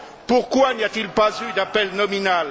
Pourquoi n'y a t il pas eu d'appel nominal?